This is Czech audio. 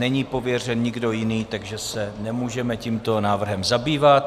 Není pověřen nikdo jiný, takže se nemůžeme tímto návrhem zabývat.